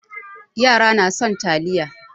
Yara na son taliya.